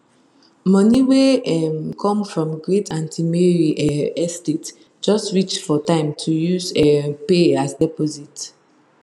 money wey um come from great aunty mary um estate just reach for time to use um pay as deposit